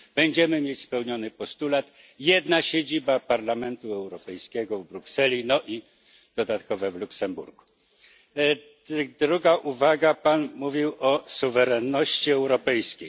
Będziemy mieli spełniony postulat, jedna siedziba Parlamentu Europejskiego w Brukseli, no i dodatkowa w Luksemburgu. Druga uwaga, Pan mówił o suwerenności europejskiej.